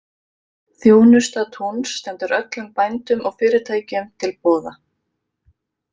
Þjónusta Túns stendur öllum bændum og fyrirtækjum til boða.